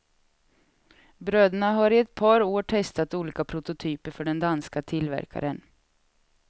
Bröderna har i ett par år testat olika prototyper för den danska tillverkaren.